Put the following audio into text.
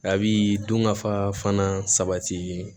A bi dunkafa fana sabati